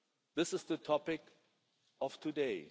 This is the topic of today.